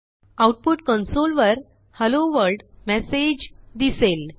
output console वर hello world message असे दिसेल